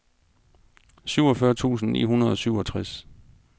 syvogfyrre tusind ni hundrede og syvogtres